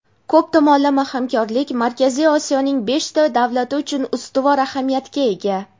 ko‘p tomonlama hamkorlik Markaziy Osiyoning beshta davlati uchun ustuvor ahamiyatga ega.